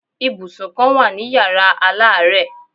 Ibùsùn kan wà ní Yàrá aláàárẹ̀.